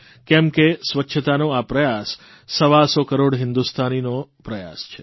કેમ કે સ્વચ્છતાનો આ પ્રયાસ સવાસો કરોડ હિંદુસ્તાનનો પ્રયાસ છે